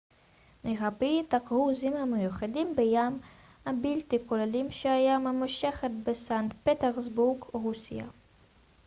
מרבית הקרוזים המיוחדים בים הבלטי כוללים שהייה ממושכת בסנט פטרסבורג רוסיה